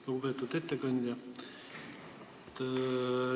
Lugupeetud ettekandja!